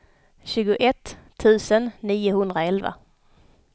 tjugoett tusen niohundraelva